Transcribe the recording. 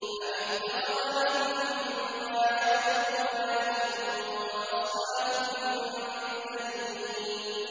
أَمِ اتَّخَذَ مِمَّا يَخْلُقُ بَنَاتٍ وَأَصْفَاكُم بِالْبَنِينَ